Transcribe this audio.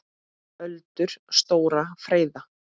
Öldur stórar freyða.